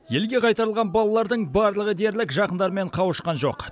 елге қайтарылған балалардың барлығы дерлік жақындарымен қауышқан жоқ